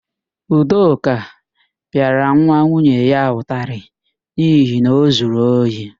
Ndụka pịara nwa nwunye ya ụtarị n'ihi na o zuru ohi.